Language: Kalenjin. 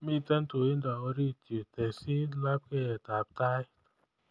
Miten tuindo orit yuu tesyi lapkeiyetab Tait